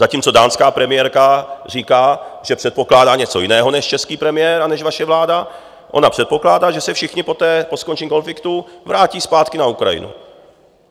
Zatímco dánská premiérka říká, že předpokládá něco jiného než český premiér a než vaše vláda, ona předpokládá, že se všichni poté, po skončení konfliktu, vrátí zpátky na Ukrajinu.